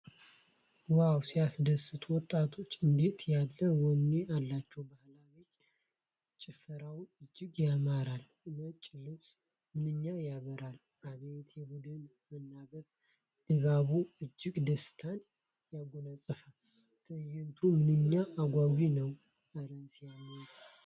ዋው ሲያስደስት! ወጣቶች እንዴት ያለ ወኔ አላቸው! ባህላዊ ጭፈራው እጅግ ያምራል! ነጩ ልብስ ምንኛ ያበራል! አቤት የቡድኑ መናበብ! ድባቡ እጅግ ደስታን ያጎናፅፋል። ትዕይንቱ ምንኛ አጓጊ ነው! እረ ሲያምር!